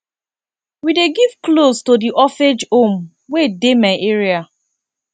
we dey give cloths to di orphage home wey dey my area